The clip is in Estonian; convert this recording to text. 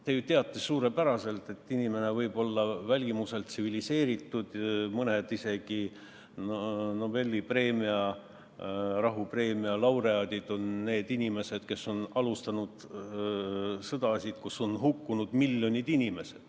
Te ju teate suurepäraselt, et inimene võib olla välimuselt tsiviliseeritud, mõned on isegi Nobeli auhinna, rahuauhinna laureaadid nendest inimestest, kes on alustanud sõdasid, kus on hukkunud miljoneid inimesi.